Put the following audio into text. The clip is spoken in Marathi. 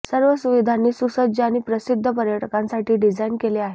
सर्व सुविधांनी सुसज्ज आणि प्रसिद्ध पर्यटकांसाठी डिझाइन केले आहे